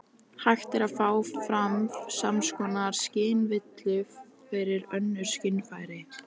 Hægt er að fá fram sams konar skynvillu fyrir önnur skynfæri.